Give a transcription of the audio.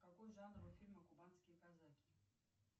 какой жанр у фильма кубанские казаки